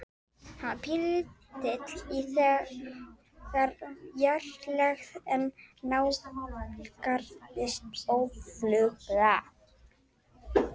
Hann var pínulítill í þessari fjarlægð en nálgaðist óðfluga.